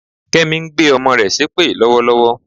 Kẹ́mi ń gbé ọmọ rẹ̀ ṣépè lọ́wọ́lọ́wọ́